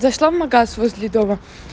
зашла в магаз возле дома